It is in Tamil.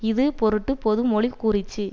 இது பொருட் பொதுமொழி கூறிற்று